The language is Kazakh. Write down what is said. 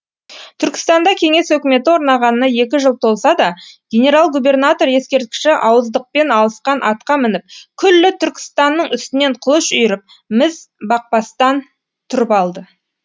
түркістанда кеңес өкіметі орнағанына екі жыл толса да генерал губернатор ескерткіші ауыздықпен алысқан атқа мініп күллі түркістанның үстінен қылыш үйіріп міз бақпастан тұрып алды